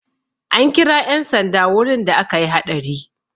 An kira 'yan sanda wurin da akayi haɗari.